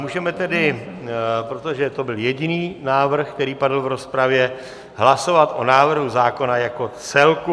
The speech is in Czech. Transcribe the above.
Můžeme tedy, protože to byl jediný návrh, který padl v rozpravě, hlasovat o návrhu zákona jako celku.